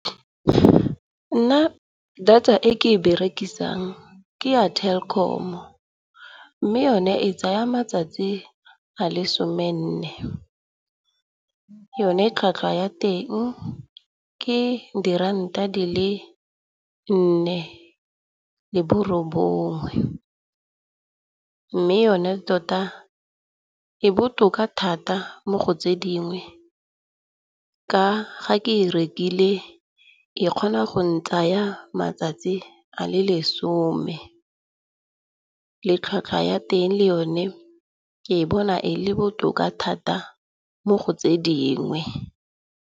Nna data e ke e berekisang ke ya Telkom. Mme yone e tsaya matsatsi a le somenne. Yone tlhwatlhwa ya teng ke diranta di le nne le borobongwe. Mme yona tota e botoka thata mo go tse dingwe. Ga ke e rekile e kgona go ntsaya matsatsi a le lesome. Tlhwatlhwa ya teng le yone ke e bona e le botoka thata mo go tse dingwe.